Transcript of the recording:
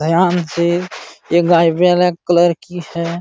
ध्यान से एक गाय ब्लैक कलर की है।